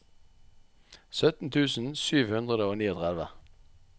sytten tusen sju hundre og trettini